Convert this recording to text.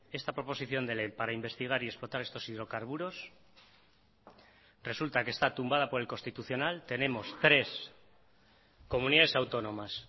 esta proposición de ley para investigar y explotar estos hidrocarburos resulta que está tumbada por el constitucional tenemos tres comunidades autónomas